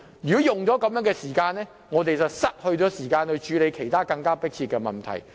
如果花了這些時間，我們便少了時間處理其他更迫切的問題。